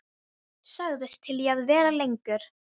Sagðist til í að vera lengur.